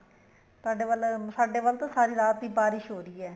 ਸਾਡੇ ਵੱਲ ਸਾਡੇ ਵੱਲ ਤਾਂ ਸਾਰੀ ਰਾਤ ਦੀ ਬਾਰਿਸ਼ ਹੋ ਰਹੀ ਹੈ